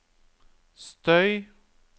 støy